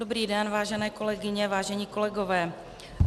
Dobrý den, vážené kolegyně, vážení kolegové.